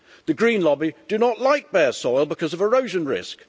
The green lobby do not like bare soil because of erosion risk.